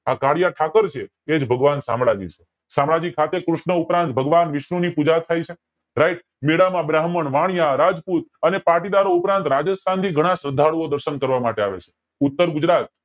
આ કાળીયો ઠાકર છે એજ ભગવાન શામળાજી છે શામળાજી ઠાકોર, કૃષ્ણ ભગવાન વિષ્ણુ ની પૂજા થાય છે right બેડા માં બ્રાહ્મણ, વાણિયા, રાજપૂત, પાટીદારો ઉપરાંત રાજસ્થાન થી ઘણા શ્રધ્ધાળુઓ દર્શન કરવા આવે છે ઉત્તર ગુજરાત અને